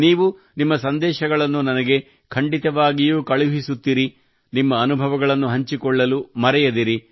ನೀವು ನಿಮ್ಮ ಸಂದೇಶಗಳನ್ನು ನನಗೆ ಖಂಡಿತವಾಗಿಯೂ ಕಳುಹಿಸುತ್ತಿರಿ ನಿಮ್ಮ ಅನುಭವಗಳನ್ನು ಹಂಚಿಕೊಳ್ಳಲು ಮರೆಯದಿರಿ